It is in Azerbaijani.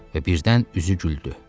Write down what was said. və birdən üzü güldü.